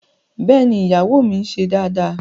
Bẹ́ẹ̀ni, iyawo mi n ṣe daadaa